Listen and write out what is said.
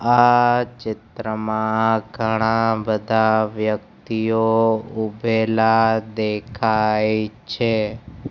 આ ચિત્રમાં ઘણા બધા વ્યક્તિઓ ઊભેલા દેખાય છે.